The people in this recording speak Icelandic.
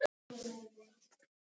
Lúlli á mig ekki.